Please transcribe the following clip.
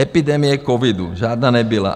Epidemie covidu - žádná nebyla.